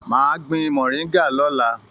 Máa gbin mọ̀ríngà lọ̀la.